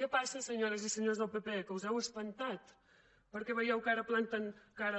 què passa senyores i senyors del pp que us heu espantat perquè veieu que ara planten